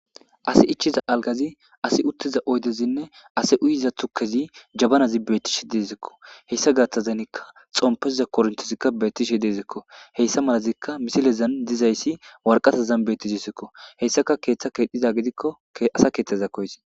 asi ichiza algazi asi uttiza oydezinne ase uyiza tukezi jabanazi beettishe dizekko heyssa gaaththazanikka xompeza korintizikka beettishe deezekko heyssa malazikka misilezan dizayssi warqatazan beettisisekko heyssaka keeththa kedhdhiza gidikkoasa keeththeza koysi.